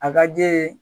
A ka di ye